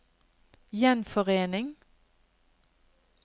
gjenforening